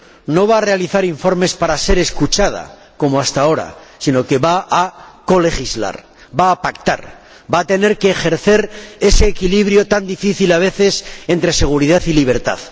No va a realizar informes para ser escuchada, como hasta ahora, sino que va a colegislar, va a pactar, va a tener que ejercer ese equilibrio, tan difícil a veces, entre seguridad y libertad.